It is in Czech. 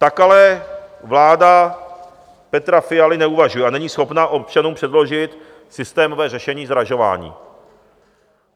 Tak ale vláda Petra Fialy neuvažuje a není schopna občanům předložit systémové řešení zdražování.